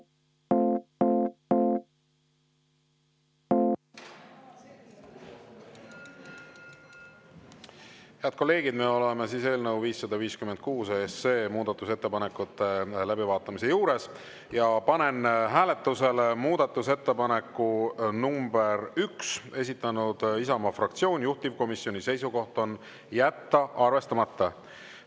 Head kolleegid, me oleme eelnõu 556 muudatusettepanekute läbivaatamise juures ja panen hääletusele muudatusettepaneku nr 1, esitanud Isamaa fraktsioon, juhtivkomisjoni seisukoht on jätta arvestamata.